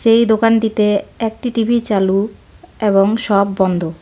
এই দোকানটিতে একটি টি_ভি চালু এবং সব বন্ধ.